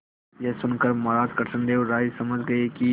यह सुनकर महाराज कृष्णदेव राय समझ गए कि